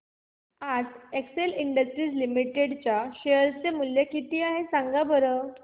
आज Excel Industries Limited चे share चे मूल्य किती आहे सांगा बरं